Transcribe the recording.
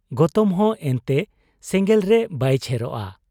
ᱜᱚᱛᱚᱢᱦᱚᱸ ᱮᱱᱛᱮ ᱥᱮᱸᱜᱮᱞ ᱨᱮ ᱵᱟᱭ ᱪᱷᱮᱨᱚᱜ ᱟ ?